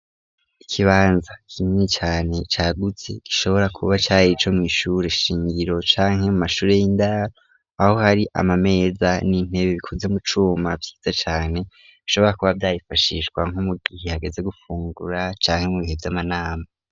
Ikibanza kinini cane cagutse gishobora kuba cari ico mw'ishure shingiro canke mu mashure y'indaro aho hari amameza n'intebe bikoze mu cuma vyiza cane bishobora kuba vyarifashishwa nko mu gihe hageze gufungura canke mu bihe vy'amanama.